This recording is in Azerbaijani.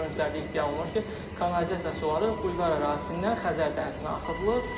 Görüntülərdə iddia olunur ki, kanalizasiya suları bulvar ərazisindən Xəzər dənizinə axıdılır.